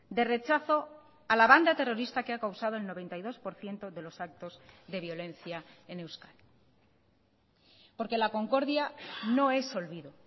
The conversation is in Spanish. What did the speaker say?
de rechazo a la banda terrorista que ha causado el noventa y dos por ciento de los actos de violencia en euskadi porque la concordia no es olvido